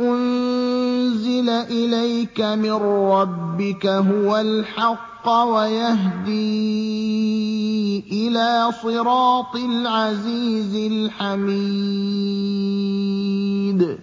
أُنزِلَ إِلَيْكَ مِن رَّبِّكَ هُوَ الْحَقَّ وَيَهْدِي إِلَىٰ صِرَاطِ الْعَزِيزِ الْحَمِيدِ